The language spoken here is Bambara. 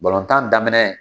Balotan daminɛ.